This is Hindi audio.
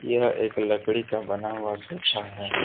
यह एक लकड़ी का बना हुआ सोफा है।